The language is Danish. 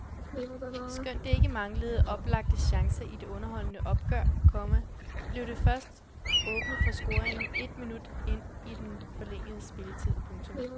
Skønt det ikke manglede oplagte chancer i det underholdende opgør, komma blev der først åbnet for scoringen et minut ind i den forlængede spilletid. punktum